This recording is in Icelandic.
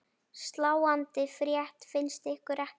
Sláandi frétt finnst ykkur ekki?